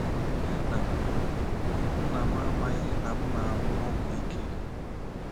Nne na nna m amaghị na m na-anwụ ọgwụ ike.